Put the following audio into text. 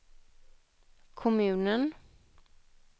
kommunen